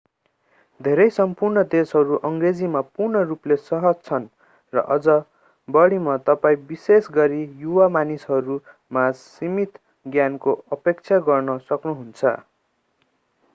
धेरै सम्पूर्ण देशहरू अङ्ग्रेजीमा पूर्ण रूपले सहज छन् र अझ बढीमा तपाईं विशेष गरी युवा मानिसहरू माझ सीमित ज्ञानको अपेक्षा गर्न सक्नुहुन्छ